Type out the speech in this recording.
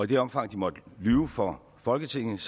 det omfang de måtte lyve for folketinget